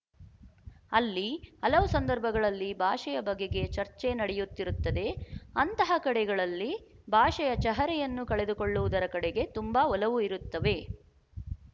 ಅಲ್ಲಿ ಹಲವು ಸಂದರ್ಭಗಳಲ್ಲಿ ಭಾಷೆಯ ಬಗೆಗೆ ಚರ್ಚೆ ನಡೆಯುತ್ತಿರುತ್ತದೆ ಅಂತಹ ಕಡೆಗಳಲ್ಲಿ ಭಾಷೆಯ ಚಹರೆಯನ್ನು ಕಳೆದುಕೊಳ್ಳುವುದರ ಕಡೆಗೆ ತುಂಬ ಒಲವು ಇರುತ್ತವೆ